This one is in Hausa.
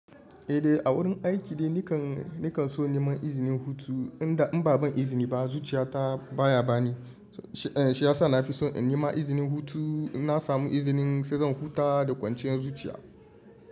Eh dai a wurin aiki ne nikan nikan so neman izinin hutu, inda in ba ban izini ba zuciya ta baya bani. Shi ya sa na fi so in nema izinin hutu, in na samu izinin sai zan huta da kwanciyar zuciya.